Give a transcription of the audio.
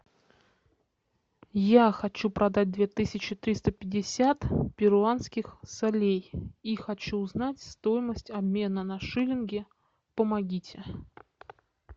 я хочу продать две тысячи триста пятьдесят перуанских солей и хочу узнать стоимость обмена на шиллинги помогите